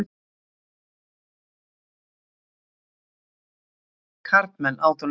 Karlmenn! át hún eftir honum.